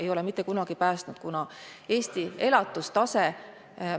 Ei ole mitte kunagi päästnud, kuna Eesti elatustase ...